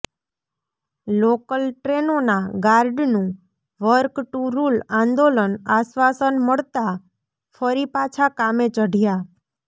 local ટ્રેનોના ગાર્ડનું work to rule આંદોલનઃ આશ્વાસન મળતાં ફરી પાછા કામે ચઢયા